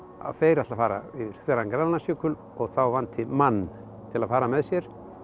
að þeir ætli að fara yfir þveran Grænlandsjökul og þá vanti mann til að fara með sér